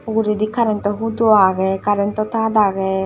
uguredi karento hudo agey karento tar agey.